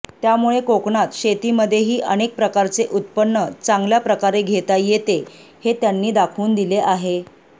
त्यामुळे कोकणात शेतीमध्येही अनेक प्रकारचे उत्पन्न चांगल्या प्रकारे घेता येते हे त्यांनी दाखवून दिले आहे